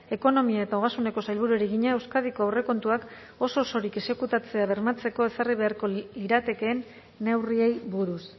ekonomia eta ogasuneko sailburuari egina euskadiko aurrekontuak oso osorik exekutatzea bermatzeko ezarri beharko liratekeen neurriei buruz